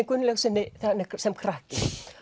Gunnlaugssyni sem krakka